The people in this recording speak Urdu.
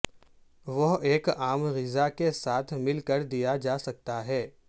وہ ایک عام غذا کے ساتھ مل کر دیا جا سکتا ہے